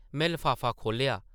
में लफाफा खोह्लेआ ।